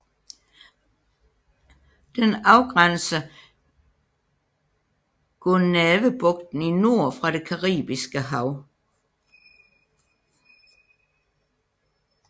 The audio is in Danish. Den afgrænser Gonâvebugten i nord fra det caribiske hav